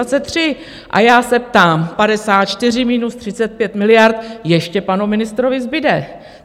A já se ptám: 54 minus 35 miliard - ještě panu ministrovi zbude.